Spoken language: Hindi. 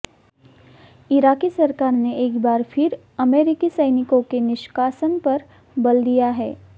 इराक़ी सरकार ने एक बार फ़िर अमेरिकी सैनिकों के निष्कासन पर बल दिया है